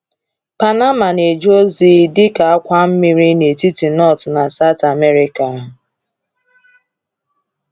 Panama na-eje ozi dị ka àkwà mmiri n’etiti North na South America.